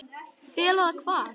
Fela það hvar?